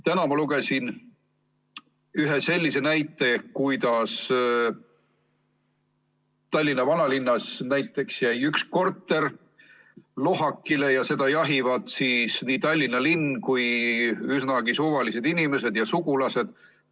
Täna ma lugesin, kuidas Tallinna vanalinnas jäi üks korter laokile ja seda jahivad nii Tallinna linn kui ka üsna suvalised inimesed ja sugulased.